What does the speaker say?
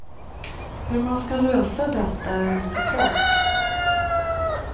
Hur man ska lösa detta är inte klart.